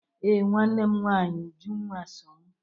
Ee, nwanne m nwanyị Ujunwa so m